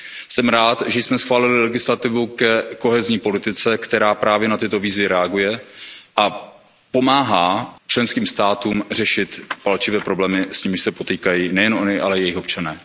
Jsem rád, že jsme schválili legislativu ke kohézní politice, která právě na tyto výzvy reaguje a pomáhá členským státům řešit palčivé problémy, s nimiž se potýkají nejen ony, ale i jejich občané.